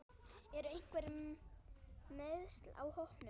Eru einhver meiðsli á hópnum?